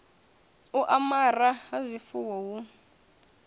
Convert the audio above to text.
u amara ha zwifuwo hu